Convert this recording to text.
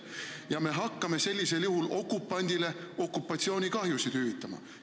Ja me hakkame sellisel juhul okupandile okupatsioonikahjusid hüvitama.